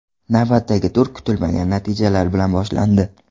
Navbatdagi tur kutilmagan natijalar bilan boshlandi.